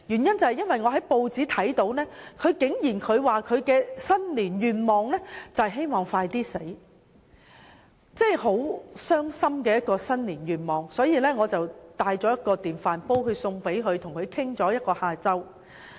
因為我從報章得知她的新年願望是希望盡快死去，這真是一個令人傷心的新年願望，於是我帶了一個電飯煲送給她，與她聊了一個下午。